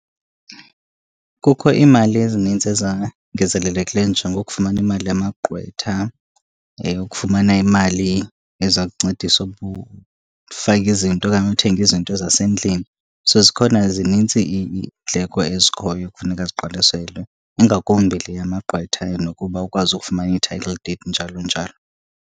Kukho iimali ezinintsi ezangezelelekileyo njengokufumana imali yamagqwetha, eyokufumana imali eza kuncedisa ukufaka izinto okanye uthenga izinto zasendlini. So, zikhona zinintsi iindleko ezikhoyo ekufuneka ziqwalaselwe, ingakumbi le yamagqwetha nokuba ukwazi ukufumana i-title deed, njalo njalo.